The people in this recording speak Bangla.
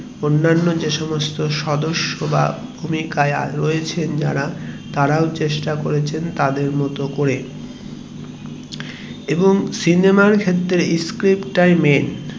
অন্যান্য সদস্য বা ভূমিকায় রয়েছে যারা তারাও চেষ্টা করেছেন তাদের মতো করে এবং সিনেমার ক্ষেত্রে Script time এ